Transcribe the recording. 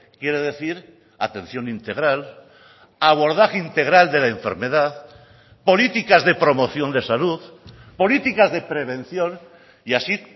quiere decir atención integral abordaje integral de la enfermedad políticas de promoción de salud políticas de prevención y así